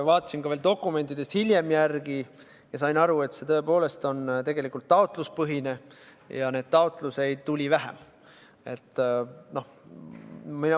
Vaatasin veel dokumentidest hiljem järele ja sain aru, et see tõepoolest on taotluspõhine ja neid taotlusi tuli vähem.